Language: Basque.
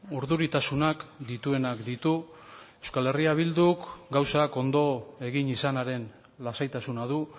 urduritasunak dituenak ditu euskal herria bilduk gauzak ondo egin izanaren lasaitasuna du